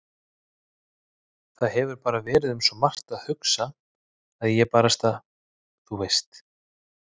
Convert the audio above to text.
Það hefur bara verið um svo margt að hugsa að ég barasta. þú veist.